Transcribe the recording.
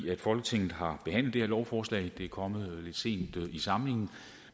folketinget har behandlet det her lovforslag det er kommet lidt sent i samlingen